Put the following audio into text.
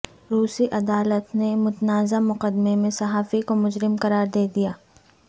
روسی عدالت نے متنازع مقدمے میں صحافی کو مجرم قرار دے دیا